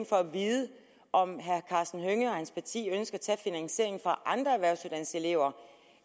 for at vide om herre karsten hønge og hans parti ønsker at tage finansieringen fra andre erhvervsuddannelseselever